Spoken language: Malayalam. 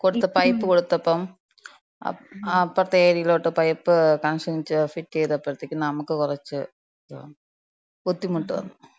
കൊട്ത്ത, പൈപ്പ് കൊട്ത്തപ്പം അപ്പർത്തെ ഏര്യേലോട്ട് പൈപ്പ് കണക്ഷൻ ചെയ്, ഫിറ്റെയ്തപ്പഴത്തേക്ക് നമ്ക്ക് കൊറച്ച് ഇത് വന്ന്. ബുദ്ധിമുട്ട് വന്ന്.